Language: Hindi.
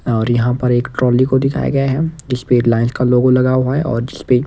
और यहां पर एक ट्रॉली को दिखाया गया है जिसपे रिलायंस का लोगो लगा हुआ है और जिसपे --